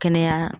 Kɛnɛya